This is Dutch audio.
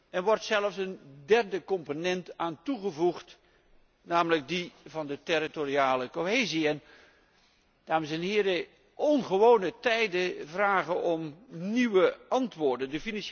Er wordt zelfs een derde component aan toegevoegd, namelijk die van de territoriale cohesie. Ongewone tijden vragen om nieuwe antwoorden.